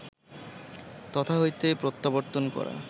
তথা হইতে প্রত্যাবর্তন করা